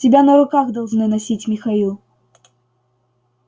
тебя на руках должны носить михаил